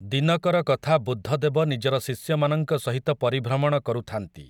ଦିନକର କଥା ବୁଦ୍ଧଦେବ ନିଜର ଶିଷ୍ୟମାନଙ୍କ ସହିତ ପରିଭ୍ରମଣ କରୁଥାନ୍ତି ।